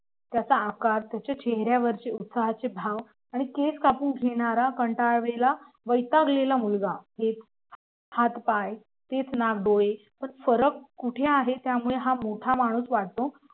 त्याचा आकार त्याच्या चेहऱ्यावरचे उत्साहाचे भाव आणि केस कापून घेणारा कंटाळलेला वैतागलेला मुलगा हात पाय तेच नाक डोळे पण फरक कुठे आहे त्यामुळे हा मोठा माणूस वाटतो